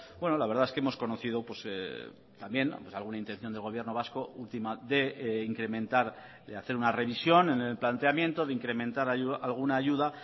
bueno la verdad es que hemos conocido también alguna intención del gobierno vasco última de incrementar de hacer una revisión en el planteamiento de incrementar alguna ayuda